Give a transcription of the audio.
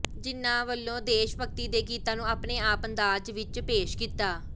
ਜਿੰਨਾਂ ਨੇ ਵੱਲੋਂ ਦੇਸ਼ ਭਗਤੀ ਦੇ ਗੀਤਾਂ ਨੂੰ ਆਪਣੇ ਆਪਣੇ ਅੰਦਾਜ ਵਿੱਚ ਪੇਸ਼ ਕੀਤਾ